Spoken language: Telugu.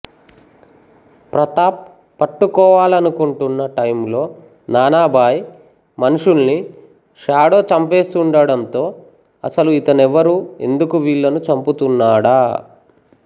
ప్రతాప్ పట్టు కోవాలనుకుంటున్న టైంలో నానా భాయ్ మనుషుల్ని షాడో చంపేస్తుండడంతో అసలు ఇతనెవరు ఎందుకు వీళ్ళని చంపుతున్నాడా